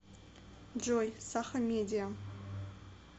джой сахамедиа